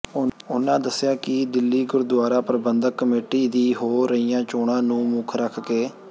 ਉਹਨਾਂ ਦੱਸਿਆ ਕਿ ਦਿੱਲੀ ਗੁਰਦੁਆਰਾ ਪ੍ਰਬੰਧਕ ਕਮੇਟੀ ਦੀ ਹੋ ਰਹੀਆਂ ਚੋਣਾਂ ਨੂੰ ਮੁੱਖ ਰੱਖਕੇ